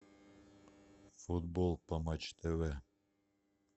футбол по матч тв